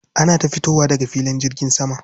Ana ta fitowa daga filin jirgin sama.